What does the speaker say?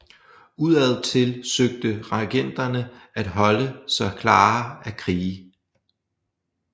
Udadtil søgte regenterne at holde sig klare af krige